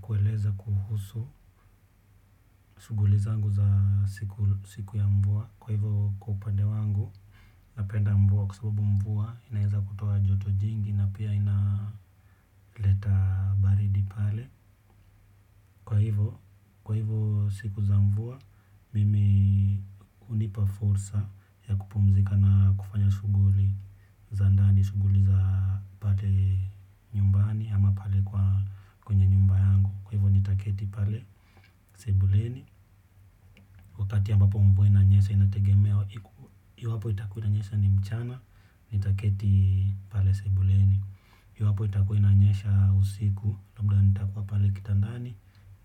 Kueleza kuhusu shughuli zangu za siku ya mvua kwa hivyo kwa upande wangu napenda mvua kwa sababu mvua inaweza kutoa joto jingi na pia inaleta baridi pale kwa hivyo siku za mvua hunipa fursa ya kupumzika na kufanya shughuli za ndani shughuli za pale nyumbani ama pale kwenye nyumba yangu kwa hivyo nitaketi pale. Sebuleni, wakati ambapo mvua inanyesha inategemea iwapo itakuwa inanyesha ni mchana. Nitaketi pale sebuleni iwapo itakuwa inanyesha usiku. Labda nitakuwa pale kitandani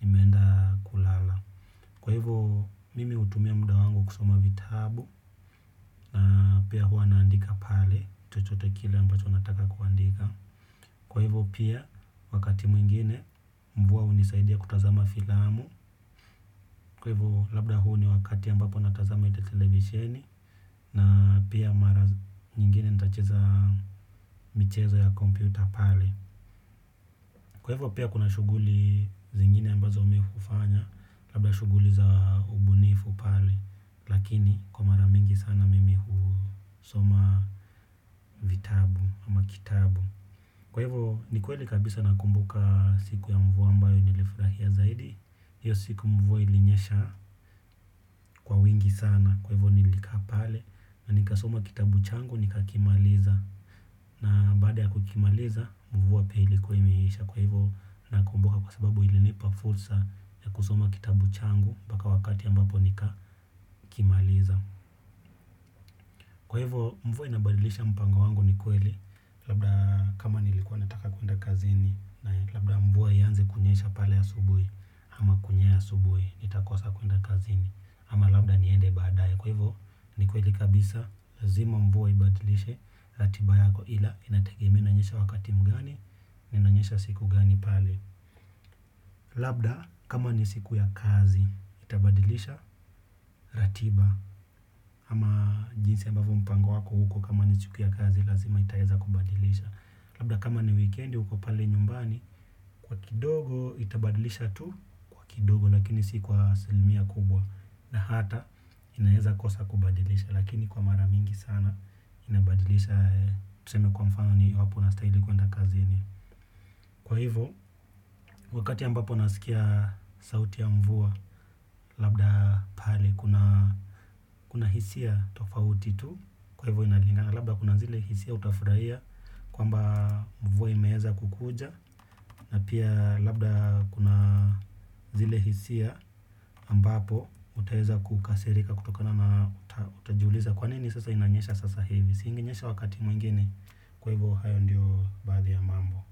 nimeenda kulala. Kwa hivyo mimi hutumia muda wangu kusoma vitabu. Na pia huwa naandika pale chochote kile ambacho nataka kuandika. Kwa hivyo pia wakati mwingine mvua hunisaidia kutazama filamu. Kwa hivyo labda huu ni wakati ambapo natazama aidha televisieni na pia mara nyingine nitacheza michezo ya kompyuta pale. Kwa hivyo pia kuna shughuli zingine ambazo mimi hufanya labda shughuli za ubunifu pale. Lakini kwa mara mingi sana mimi husoma kitabu. Kwa hivyo ni kweli kabisa nakumbuka siku ya mvua ambayo nilifurahia zaidi hiyo siku mvua ilinyesha kwa wingi sana. Kwa hivyo nilikaa pale. Na nikasoma kitabu changu nikakimaliza. Na baada ya kukimaliza mvua pia ilikuwa imeisha. Kwa hivyo nakumbuka kwa sababu ilinipa fursa ya kusoma kitabu changu mpaka wakati ambapo nika kimaliza. Kwa hivyo mvua inabadilisha mpango wangu ni kweli. Labda kama nilikuwa nataka kuenda kazini labda mvua ianze kunyesha pale asubuhi ama kunyesha asubuhi. Nitakosa kuenda kazini. Ama labda niende baadaye kwa hivyo ni kweli kabisa lazima mvua ibadilishe ratiba yako ila inategemea inanyesha wakati mgani na inanyesha siku gani pale. Labda kama ni siku ya kazi itabadilisha ratiba ama jinsi ambavyo mpango wako uko kama ni siku ya kazi lazima itaweza kubadilisha. Labda kama ni wikendi uko pale nyumbani kwa kidogo itabadilisha tu kidogo lakini si kwa asilimia kubwa na hata inaweza kosa kubadilisha lakini kwa mara mingi sana inabadilisha tuseme kwa mfano unastahili kwenda kazini. Kwa hivyo, wakati ambapo nasikia sauti ya mvua, labda pahali kuna, kuna hisia tofauti tu, kwa hivyo inalingana, labda kuna zile hisia utafurahia, kwamba mvua imeweza kukuja, na pia labda kuna zile hisia ambapo, utaweza kukasirika kutokana na utajuliza kwa nini sasa inanyesha sasa hivi, si inginyesha wakati mwingine, kwa hivyo hayo ndiyo baadhi ya mambo.